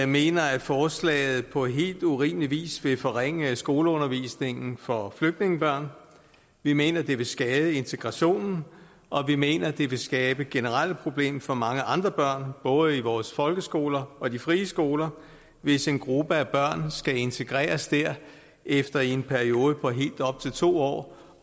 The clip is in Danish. mener at forslaget på helt urimelig vis vil forringe skoleundervisningen for flygtningebørn vi mener det vil skade integrationen og vi mener det vil skabe generelle problemer for mange andre børn både i vores folkeskoler og i de frie skoler hvis en gruppe af børn skal integreres der efter i en periode på helt op til to år